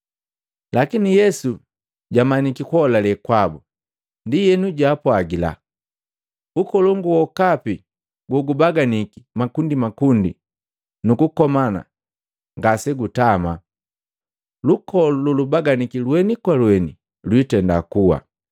Lakini Yesu jamanyiki kuholale kwabu, ndienu jaapwajila, “Ukolongu wokapi gogubaganiki makundimakundi nukukomana ngasegutama, lukolu lolubaganika lweni kwa lweni lwitenda kuwa.